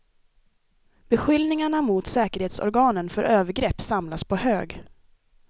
Beskyllningarna mot säkerhetsorganen för övergrepp samlas på hög.